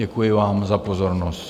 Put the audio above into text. Děkuji vám za pozornost.